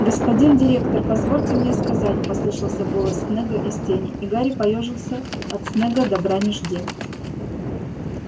господин директор позвольте мне сказать послышался голос снегга из тени и гарри поёжился от снегга добра не жди